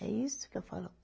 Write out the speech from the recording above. É isso que eu falo.